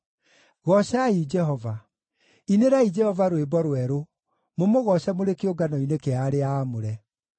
Goocai Jehova. Inĩrai Jehova rwĩmbo rwerũ, mũmũgooce mũrĩ kĩũngano-inĩ kĩa arĩa aamũre.